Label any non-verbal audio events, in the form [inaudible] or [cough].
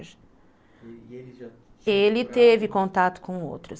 [unintelligible] Ele teve contato com outros.